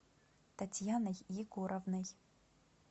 татьяной егоровной